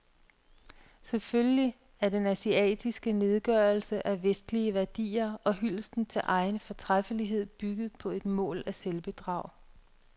Selvfølgelig er den asiatiske nedgørelse af vestlige værdier og hyldest til egen fortræffelighed bygget på et mål af selvbedrag.